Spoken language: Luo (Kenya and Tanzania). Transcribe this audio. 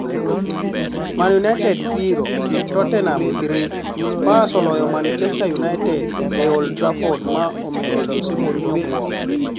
Man Utd 0-3 Tottenham: Spurs oloyo Manchester United e Old Trafford ma omedo Jose Mourinho buok.